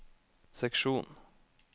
seksjon